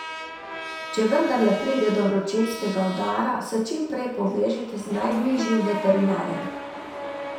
Če vendarle pride do vročinskega udara, se čim prej povežite z najbližjim veterinarjem.